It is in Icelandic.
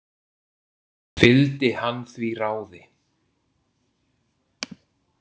Fylgdi hann því ráði.